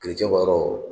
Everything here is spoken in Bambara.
yɔrɔ